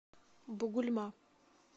бугульма